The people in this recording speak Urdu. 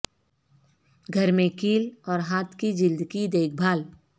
گھر میں کیل اور ہاتھ کی جلد کی دیکھ بھال